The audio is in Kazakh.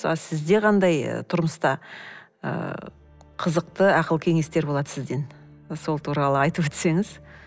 ал сізде қандай тұрмыста ыыы қызықты ақыл кеңестер болады сізден сол туралы айтып өтсеңіз